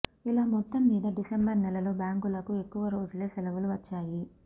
ఇలా మొత్తం మీద డిసెంబర్ నెలలో బ్యాంకులకు ఎక్కువ రోజులే సెలవులు వచ్చాయి